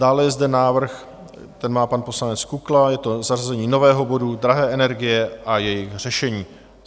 Dále je zde návrh, který má pan poslanec Kukla, je to zařazení nového bodu Drahé energie a jejich řešení.